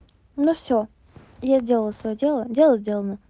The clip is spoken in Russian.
ну всё я сделала своё дело дело сделано